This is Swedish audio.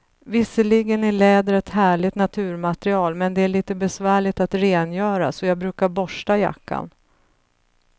Visserligen är läder ett härligt naturmaterial, men det är lite besvärligt att rengöra, så jag brukar borsta jackan.